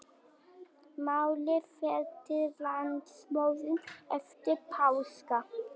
Málið fer til landsdóms eftir páska